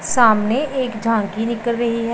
सामने एक झांकी निकल रही है।